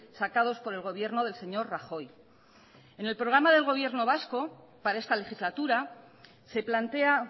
sacados por el gobierno del señor rajoy en el programa del gobierno vasco para esta legislatura se plantea